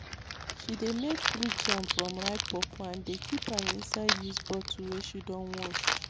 she dey make fruit jam from ripe pawpaw and dey keep am inside used bottle wey she don wash